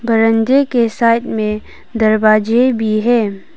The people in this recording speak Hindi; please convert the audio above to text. बरांडे के साइड में दरवाजे भी हैं।